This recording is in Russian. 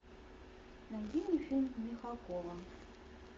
найди мне фильм михалкова